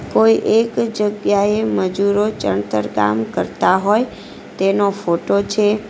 કોઈ એક જગ્યાએ મજૂરો ચણતર કામ કરતા હોય તેનો ફોટો છે.